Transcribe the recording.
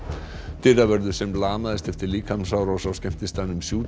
dyravörður sem lamaðist eftir líkamsárás á skemmtistaðnum